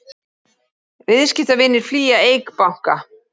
Viðskiptavinir flýja Eik banka